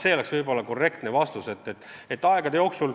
See oleks ehk korrektne vastus.